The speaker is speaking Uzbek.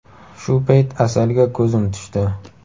Shu payt Asalga ko‘zim tushdi.